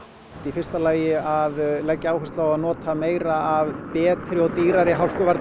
í fyrsta lagi að leggja áherslu á að nota meira af betri og dýrari